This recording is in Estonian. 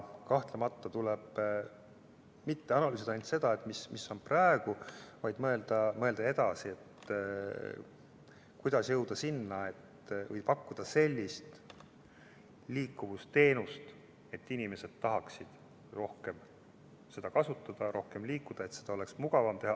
Kahtlemata pole vaja analüüsida ainult seda, mis on praegu, vaid tuleb mõelda edasi, kuidas jõuda selleni ja pakkuda sellist liikuvusteenust, et inimesed tahaksid rohkem liikuda ja et neil oleks mugavam seda teha.